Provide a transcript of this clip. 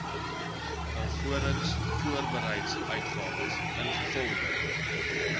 alvorens voorbedryfsuitgawes ingevolge